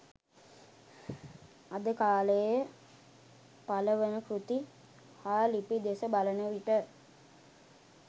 අද කාලයේ පළ වන කෘති හා ලිපි දෙස බලන විට